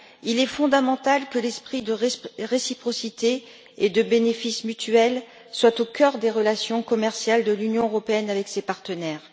Il est fondamental que l'esprit de réciprocité et d'avantages mutuels soit au cœur des relations commerciales de l'Union européenne avec ses partenaires.